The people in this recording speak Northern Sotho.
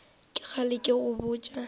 ke kgale ke go botša